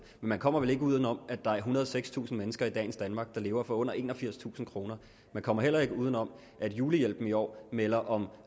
man kommer vel ikke uden om at der er ethundrede og sekstusind mennesker i dagens danmark der lever for under enogfirstusind kroner man kommer heller ikke uden om at julehjælpen i år melder om et